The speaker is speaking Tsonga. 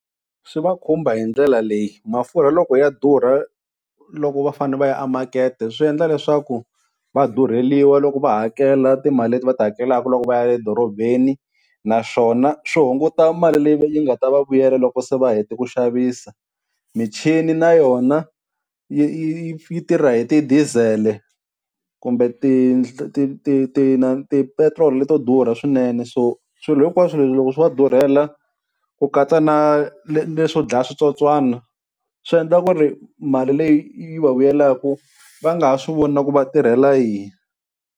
Swi va khumba hi ndlela leyi, mafurha loko ya durha loko va fane va ya emakete, swi endla leswaku va durheliwa loko va hakela timali leti va ti hakelaka loko va ya edorobeni, naswona swi hunguta mali leyi yi nga ta va vuyela loko se va hete ku xavisa michini na yona yi yi yi tirha hi ti-diesel-e kumbe ti ti ti ti inana tipetiroli leto durha swinene, so swilo hinkwaswu leswi loko swo va durhela ku katsa na na leswo dlaya switsotswana, swi endla ku ri mali leyi yi va vuyelaka va nga ha swi voni na ku va tirhela yini.